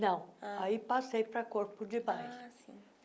Não, ah aí passei pra corpo de baile. ah sim